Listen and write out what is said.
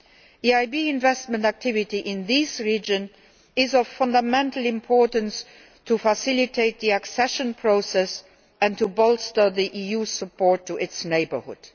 EIB investment activity in these regions is of fundamental importance to facilitate the accession process and to bolster EU support to its neighbourhood.